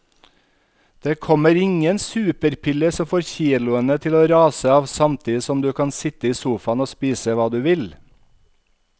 Det kommer ingen superpille som får kiloene til å rase av samtidig som du kan sitte i sofaen og spise hva du vil.